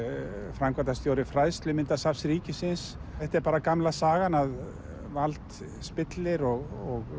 framkvæmdastjóri ríkisins þetta er bara gamla sagan að vald spillir og